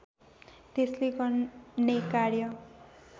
त्यसले गर्ने कार्य